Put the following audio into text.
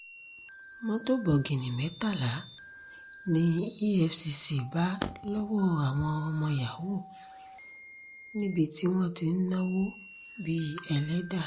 mọ́tò bọ̀gìnnì mẹ́tàlá ní efcc bá lọ́wọ́ àwọn ọmọ yahoo níbi tí wọ́n ti ń náwó bíi ẹlẹ́dà